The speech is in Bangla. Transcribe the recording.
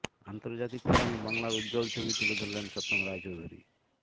আন্তর্জাতিক ফোরামে বাংলার উজ্জ্বল ছবি তুলে ধরলেন সত্যম রায়চৌধুরী